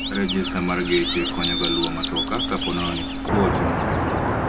Rejesta mar geche konyo ga luwo matoka ka ponono ni kwoo otimore